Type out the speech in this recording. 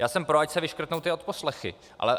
Já jsem pro, ať se vyškrtnou ty odposlechy.